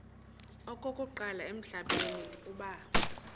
okokuqala emhlabeni uba